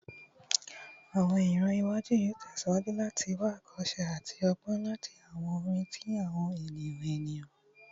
Awọn iran iwaju yoo tẹsiwaju lati wa awokose ati ọgbọn lati awọn orin ti awọn eniyan eniyan